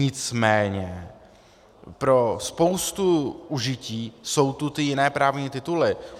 Nicméně pro spoustu užití jsou tu ty jiné právní tituly.